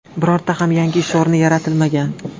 Bironta ham yangi ish o‘rni yaratilmagan.